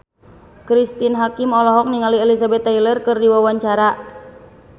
Cristine Hakim olohok ningali Elizabeth Taylor keur diwawancara